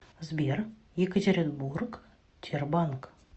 сбер екатеринбург тербанк